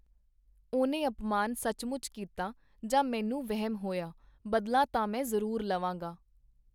ਉਹਨੇ ਅਪਮਾਨ ਸੱਚਮੁੱਚ ਕੀਤਾ, ਜਾਂ ਮੈਨੂੰ ਵਹਿਮ ਹੋਇਆ, ਬਦਲਾ ਤਾਂ ਮੈਂ ਜ਼ਰੂਰ ਲਵਾਂਗਾ.